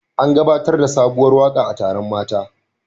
An gabatar da sabuwar waka a taron mata